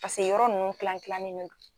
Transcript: Paseke yɔrɔ ninnu kilan kilanni de do.